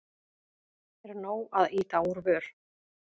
Er nóg að ýta úr vör?